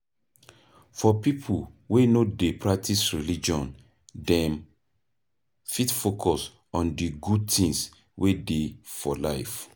For pipo wey no dey practice religion, dem fit focus on di good things wey dey for life